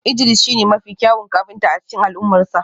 Idris shine mafi kyawun kafinta a cikin al'ummarsa